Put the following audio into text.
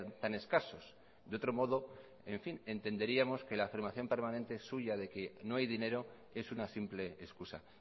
tan escasos de otro modo en fin entenderíamos que la afirmación permanente suya de que no hay dinero es una simple excusa